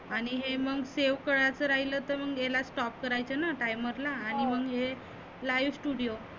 आणि हे मग save करायचं राहीलं तर मग हेला stop करायच ना timer ला आणि मग हे live studio